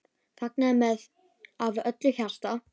Fagnaði með af öllu hjarta.